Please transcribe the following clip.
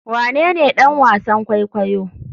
Wanene ɗan wasan kwaikwayo?